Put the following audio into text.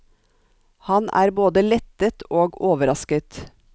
Han er både lettet og overrasket.